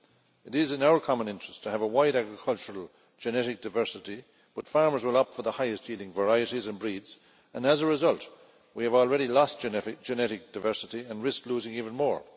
It is in our common interest to have a wide agricultural genetic diversity, but farmers will opt for the highest yielding varieties and breeds, and as a result, we have already lost genetic diversity and risk losing even more.